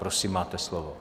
Prosím, máte slovo.